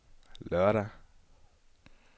lørdag